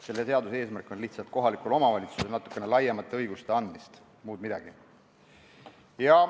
Selle eelnõu eesmärk on lihtsalt anda kohalikule omavalitsusele natuke laiemaid õigusi, muud midagi.